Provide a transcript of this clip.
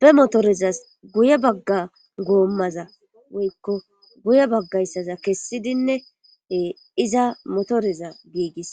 be motorezas guye bagga goommaza woykko guye baggayssaza kessidinne iza motoreza giigis.